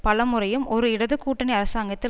பலமுறையும் ஒரு இடது கூட்டணி அரசாங்கத்தில்